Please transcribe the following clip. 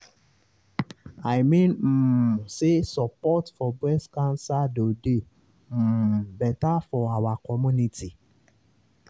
i mean um say support for breast cancer doh dey um better for our community.